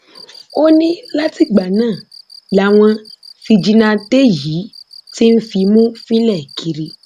ó ní látìgbà náà làwọn fíjìnnàtẹ yìí ti ń fimú fínlẹ kiri